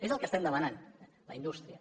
és el que estem demanant la indústria